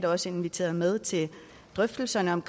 også inviteret med til drøftelserne om